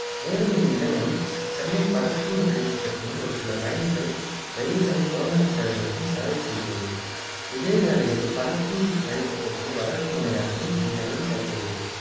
மேலும் இந்நிலையம் சென்னை பறக்கும் இரயில் திட்டத்தையும் ஒரு சில பயணிகள் இரயில்களின் புறநகர் சேவைகளுக்கும் சேவை செய்கிறது இதேவேளையில் பறக்கும் இரயில் திட்டத்தின் வடக்கு முனையமாகவும் இந்நிலையம் செயல்படுகிறது